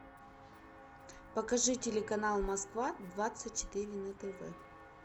покажи телеканал москва двадцать четыре на тв